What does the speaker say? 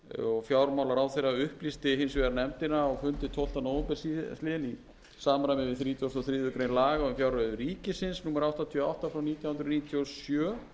og fjármálaráðherra upplýsti hins vegar nefndina á fundi tólfti nóvember síðastliðinn í samræmi við þrítugustu og þriðju grein laga um fjárreiður ríkisins númer áttatíu og átta frá nítján hundruð níutíu og sjö